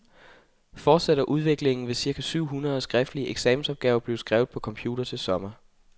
Fortsætter udviklingen, vil cirka syv hundrede skriftlige eksamensopgaver blive skrevet på computer til sommer.